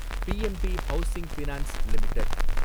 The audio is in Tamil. PNB Housing Finance limited